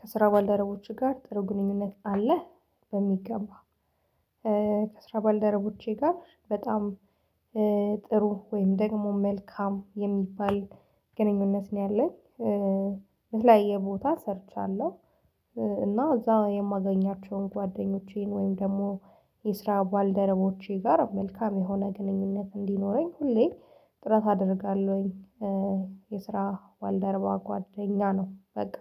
ከስራ ባልደረቦቼ ጋር ጥሩ ግንኙነት አለ በሚገባ። ከስራ ባልደረቦቼ ጋር በጣም ጥሩ ወይም ደግሞ መልካም የሚባል ግንኙነት ነው ያለኝ የተለያዬ ቦታ ሰርቻለሁ። እና እዛ የማገኛቸውን ጓደኞቼን ወይም ደግሞ የስራ ባልደረቦቼ ጋር መልካም የሆነ ግንኙነት እንዲኖረኝ ሁሌ ጥረት አደርጋለሁኝ። የስራ ባልደረባ ጓደኛ ነው በቃ።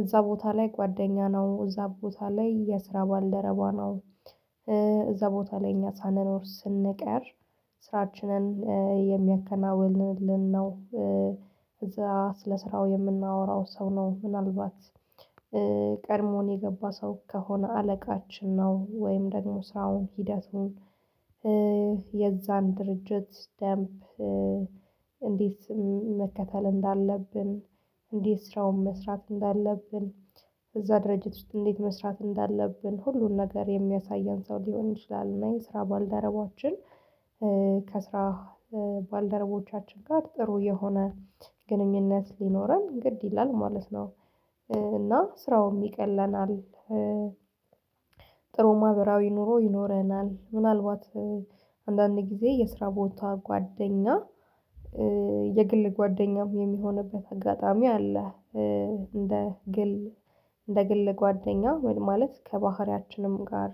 እዛ ቦታ ላይ ጓደኛ ነው እዛ ቦታ ላይ የስራ ባልደረቧ ነው። እዛ ቦታ እኛ ሳንኖር ስንቀር ስራችንን የሚያከናውንልን ነው። እዛ ስለ ስራው የምናወራው ሰው ነው። ምናልባት ቀድሞን የገባ ሰው ከሆነ አለቃችን ነው ወይም ደግሞ ስራውን ሂደቱን የዛን ድርጅት ስታምፕ እንዴት መከተል እንዳለብን እንዴት ስራውን መስራት እንዳለብን እዛ ድርጅት ውስጥ እንዴት መስራት እንዳለብን ሁሉን ነገር የሚያሳየን ሰው ሊሆን ይችላል። እና የስራ ባልደረባችን ከስራ ባልደረባዎቻችን ጋር ጥሩ የሆነ ግንኙነት ሊኖረን ግድ ይላል ማለት ነው። እና ስራውም ይቀለናል። ማብራዊ ኑሮ ይኖረናል ምናልባት አንዳንድ ጊዜ የስራ ቦታ ጓደኛ የግል ጓደኛም የሚሆንበት አጋጣሚ አለ። እንደ ግል እንደ ግል ጓደኛ ማለት ከባህሪያችንም ጋር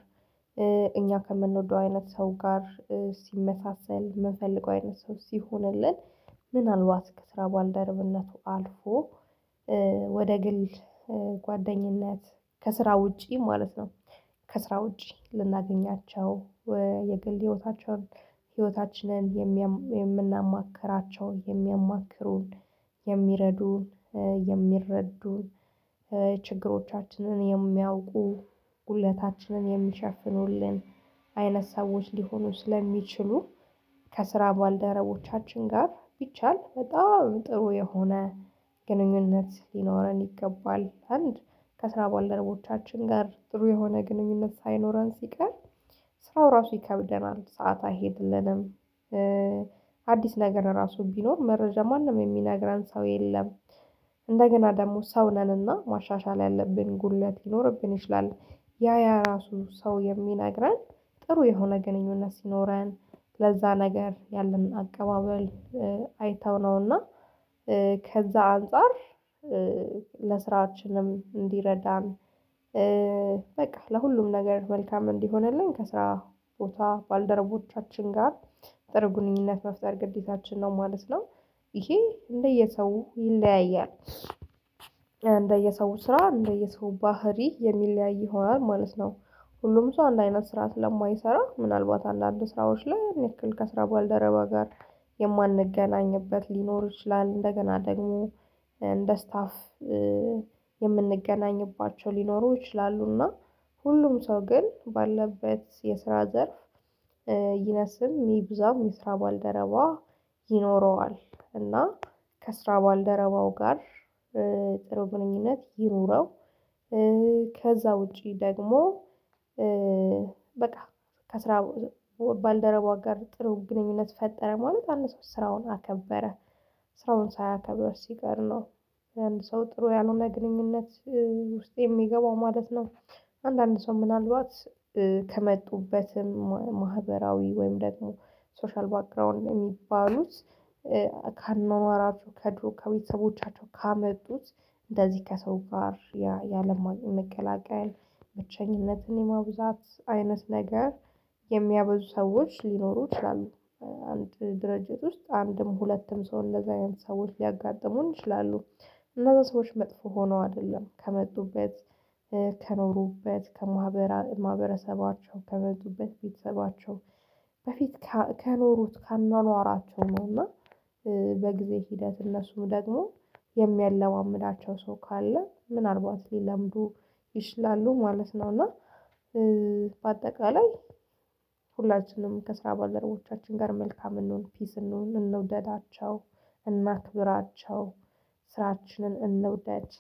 እኛ ከምንወደው አይነት ሰው ጋር ሲመሳሰል ምንፈልገው አይነት ሰው ሲሆንልን ምናልባት ከስራ ባልደረብነቱ አልፎ ወደ ግል ጓደኝነት ከስራ ውጪ ማለት ነው። ከስራ ውጪ ልናገኛቸው የግል ህይወታቸውን ህይወታችንን የምናማክራቸው የሚያማክሩን የሚረዱን የሚረዱን ችግሮቻችንን የሚያውቁ ጉድለታችንን የሚሸፍኑልን አይነት ሰዎች ሊሆኑ ስለሚችሉ ከስራ ባልደረቦቻችን ጋር ቢቻል በጣም ጥሩ የሆነ ግንኙነት ሊኖረን ይገባል። አንድ ከስራ ባልደረቦቻችን ጋር ጥሩ የሆነ ግንኙነት ሳይኖረን ሲቀር ስራው ራሱ ይከብደናል ሰዓት አይሄድልንም። አዲስ ነገር ራሱ ቢኖር መረጃ ማንም የሚነግረን ሰው የለም። እንደገና ደግሞ ሰው ነንና ማሻሻል ያለብን ጉድለት ሊኖርብን ይችላል። ያ ያ ራሱ ሰው የሚነግረን ጥሩ የሆነ ግንኙነት ሲኖረን ለዛ ነገር ያለን አቀባበል አይተው ነውና ከዛ አንፃር ለስራችንም እንዲረዳን። በቃ ለሁሉም ነገር መልካም እንዲሆንልኝ ከስራ ቦታ ባልደረቦቻችን ጋር ጥሩ ግኑኝነት መፍጠር ግዴታችን ነው ማለት ነው። ይሄ እንደየሰው ይለያያል እንደየሰው ስራ እንደየሰው ባህሪ የሚለያይ ይሆናል ማለት ነው። ሁሉም ሰው አንድ አይነት ስራ ስለማይሰራ ምናልባት አንዳንድ ስራዎች ላይ ያን ያንክል ከስራ ባልደረባ ጋር የማንገናኝበት ሊኖር ይችላል። እንደገና ደግሞ እንደ ስታፍ የምንገናኝባቸው ሊኖሩ ይችላሉና። ሁሉም ሰው ግን ባለበት የስራ ዘርፍ ይነስም ይብዛም የስራ ባልደረባ ይኖረዋል። እና ከስራ ባልደረባው ጋር ጥሩ ግኑኝነት ይኑረው። ከዛ ውጪ ደግሞ በቃ ከስራ ባልደረቧ ጋር ጥሩ ግንኙነት ፈጠረ ማለት አንድ ሰው ስራውን አከበረ ስራውን ሳያከብር ሲቀር ነው። አንድ ሰው ጥሩ ያልሆነ ግንኙነት ውስጥ የሚገባው ማለት ነው። አንዳንድ ሰው ምን ምናልባት ከመጡበትም ማህበራዊ ወይም ደግሞ ሶሻል ባክግራውንድ የሚባሉት ከአኗኗራቸው ከድሮ ከቤተሰቦቻቸው ካመጡት እንደዚህ ከሰው ጋር ያለመቀላቀል ብቸኝነትን የማብዛት አይነት ነገር የሚያበዙ ሰዎች ሊኖሩ ይችላሉ። አንድ ድርጅት ውስጥ አንድም ሁለትም ሰውን እንደዛ አይነት ሰዎች ሊያጋጥሙን ይችላሉ። እነዛ ሰዎች መጥፎ ሆኖ አይደለም ከመጡበት ከኖሩበት ከማህበራ ከማህበራሰባቸው ከመጡበት ቤተሰባቸው በፊት ከኖሩት ከአኗኗራቸው ነውና። በጊዜ ሂደት እነሱ ደግሞ የሚያለማምዳቸው ሰው ካለ ምናልባት ሊለምዱ ይችላሉ ማለት ነው። እና በአጠቃላይ ሁላችንም ከስራ ባልደረቦቻችን ጋር መልካም እንሁን ፒስ እንሁን እንደውደዳቸው እናክብራቸው ስራችንን እንውደድ።